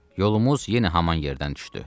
Yolumuz yenə haman yerdən düşdü.